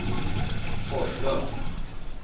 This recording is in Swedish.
Forslund